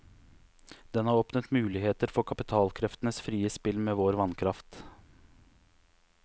Den har åpnet muligheter for kapitalkreftenes frie spill med vår vannkraft.